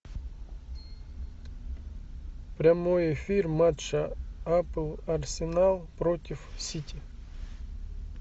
прямой эфир матча апл арсенал против сити